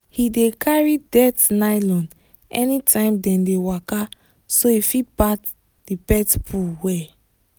he dey carry dirt nylon anytime dem dey waka so he fit pack the pet poo well.